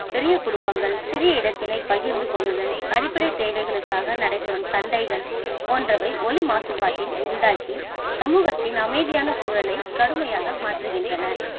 பெரிய குடும்பங்கள் சிறிய இடத்தினை பகிர்ந்து கொள்ளுதல், அடிப்படைத் தேவைகளுக்காக நடைபெறும் சண்டைகள் போன்றவை ஒலி மாசுபாட்டை உண்டாக்கி சமூகத்தின் அமைதியான சூழலை கடுமையாக மாற்றுகின்றன.